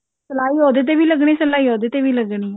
ਸਲਾਈ ਉਹਦ ਏਤੇ ਵੀ ਲੱਗਣੀ ਸਲਾਈ ਉਹਦੇ ਤੇ ਵੀ ਲੱਗਣੀ